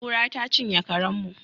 Kura ta cinye karen mu